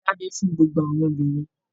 Da'bẹ fún gbogbo àwọn obìnrin!